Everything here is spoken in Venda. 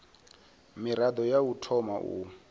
mirado ya u thoma u